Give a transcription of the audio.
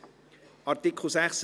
Willkommen zurück im Saal.